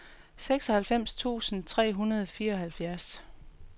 seksoghalvfems tusind tre hundrede og fireoghalvfjerds